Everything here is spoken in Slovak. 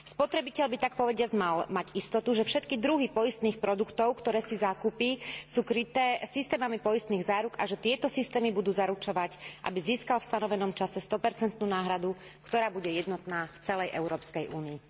Spotrebiteľ by takpovediac mal mať istotu, že všetky druhy poistných produktov, ktoré si zakúpi, sú kryté systémami poistných záruk a že tieto systémy budú zaručovať, aby získal v stanovenom čase 100 náhradu, ktorá bude jednotná v celej Európskej únii.